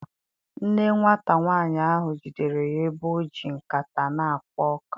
Nne nwata nwanyị ahụ jidere ya ebe ọ ji nkata na-akwa iko.